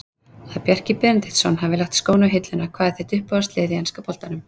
Að Bjarki Benediktsson hafi lagt skóna á hilluna Hvað er þitt uppáhaldslið í enska boltanum?